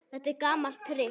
Þetta er gamalt trix.